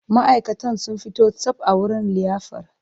Ma'aikatan sun fito tsab a wurin liyafar.